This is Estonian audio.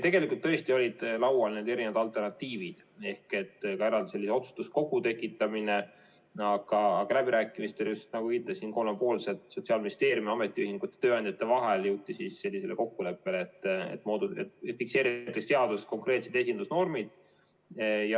Tegelikult tõesti olid laual need erinevad alternatiivid, ka eraldi otsustuskogu tekitamine, aga kolmepoolsetel läbirääkimistel, just nagu viitasin, Sotsiaalministeeriumi, ametiühingute ja tööandjate vahel jõuti sellisele kokkuleppele, et fikseeriti seaduses konkreetsed esindusnormid.